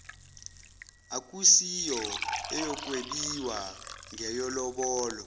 akusiyo eyokwebiwa ngeyelobolo